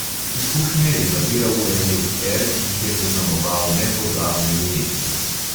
Izkušnje je nabiral v eni od er, ki jih je zaznamoval nepozabni umetnik.